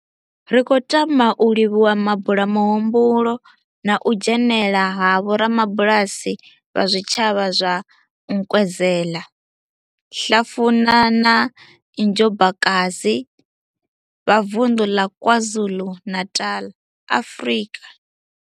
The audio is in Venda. Ri khou tama u livhuwa mabulamuhumbulo na u dzhenela ha vhorabulasi vha zwitshavha zwa Nkwezela, Hlafuna na Njobokai Bvha Vundu la KwaZulu-Natal, Afrika.